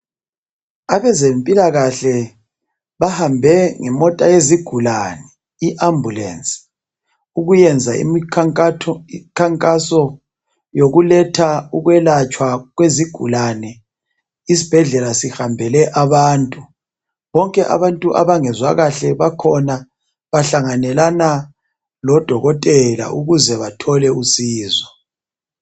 Abezempilakahle bahambe ngemota yezigulane i ambulensi ukuyenza imikhankaso yokuletha ukwelatshwa kwezigulane isibhedlela sihambele abantu, bonke abantu abangezwa kahle bakhona bahlanganyelana lodokotela ukuze bathole usizo.